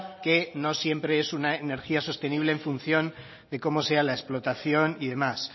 que no siempre es una energía sostenible en función de cómo sea la explotación y demás